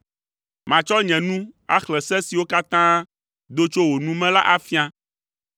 Matsɔ nye nu axlẽ se siwo katã do tso wò nu me la afia.